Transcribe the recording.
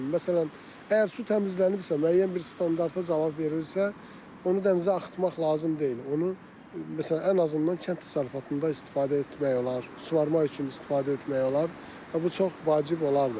Məsələn, əgər su təmizlənibsə, müəyyən bir standarta cavab verilirsə, onu dənizə axıtmaq lazım deyil, onu məsələn, ən azından kənd təsərrüfatında istifadə etmək olar, suvarma üçün istifadə etmək olar və bu çox vacib olardı.